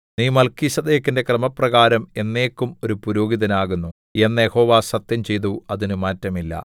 നീ മല്ക്കീസേദെക്കിന്റെ ക്രമപ്രകാരം എന്നേക്കും ഒരു പുരോഹിതൻ ആകുന്നു എന്ന് യഹോവ സത്യംചെയ്തു അതിന് മാറ്റമില്ല